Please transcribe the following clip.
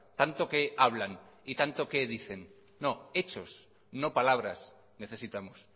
tanto que hablan y tanto que dicen hechos no palabras necesitamos